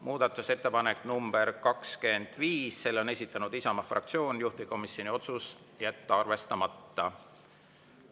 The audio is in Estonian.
Muudatusettepanek nr 25, selle on esitanud Isamaa fraktsioon, juhtivkomisjoni otsus: jätta arvestamata.